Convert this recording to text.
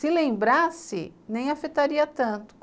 Se lembrasse, nem afetaria tanto.